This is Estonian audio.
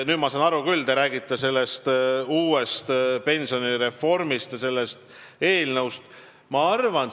Nüüd ma saan aru küll: te räägite uuest pensionireformist ja sellest eelnõust.